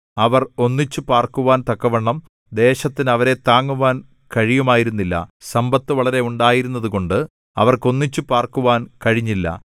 അവർ ഒന്നിച്ചുപാർക്കുവാൻ തക്കവണ്ണം ദേശത്തിന് അവരെ താങ്ങുവാൻ കഴിയുമായിരുന്നില്ല സമ്പത്ത് വളരെ ഉണ്ടായിരുന്നതുകൊണ്ട് അവർക്ക് ഒന്നിച്ചുപാർക്കുവാൻ കഴിഞ്ഞില്ല